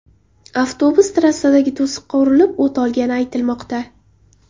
Avtobus trassadagi to‘siqqa urilib, o‘t olgani aytilmoqda.